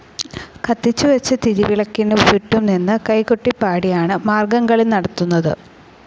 കത്തിച്ചുവെച്ച തിരിവിളക്കിനു ചുറ്റും നിന്ന് കൈകൊട്ടിപാടിയാണ് മാർഗംകളി നടത്തുന്നത്.